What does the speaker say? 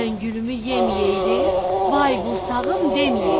Məngülümü yeməyəydin, vay qursağım deməyəydin.